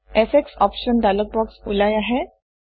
effects options dialogue box ওলাই আহে